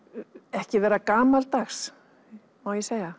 ekki vera gamaldags má ég segja